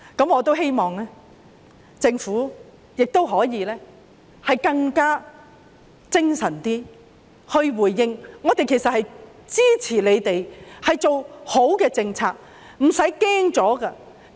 我希望政府可以更精神地作出回應，我們支持他們做好的政策，不要害怕。